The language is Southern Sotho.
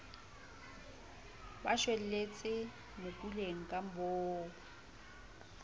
ba shwelletse mokuleng ka boomo